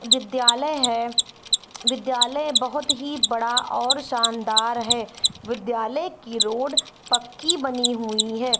विद्यालय है विद्यालय बहुत ही बड़ा और शानदार है विद्यालय की रोड पक्की बनी हुई है।